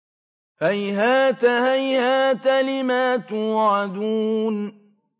۞ هَيْهَاتَ هَيْهَاتَ لِمَا تُوعَدُونَ